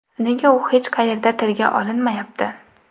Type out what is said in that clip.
Nega u hech qayerda tilga olinmayapti?